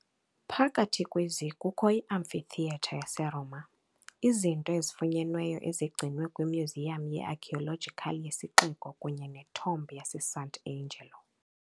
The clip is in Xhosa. Phakathi kwezi kukho iAmphitheatre yaseRoma, izinto ezifunyenweyo ezigcinwe kwimyuziyam ye-archaeological yesixeko kunye neTomb yaseSant'Angelo .